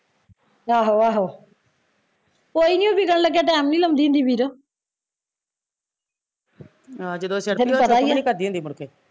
ਆਹੋ ਆਹੋ ਕੋਈ ਨੀ ਉਹ ਵਿਕਣ ਲੱਗੇ ਟੈਮ ਨੀ ਲਾਉਂਦੀ ਵੀਰੋ ਤੈਨੂ ਪਤਾ ਈ ਐ